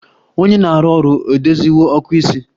Onye na-arụ ọrụ edoziwo ọkụ isi?